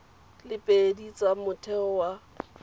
le pedi tsa motheo wa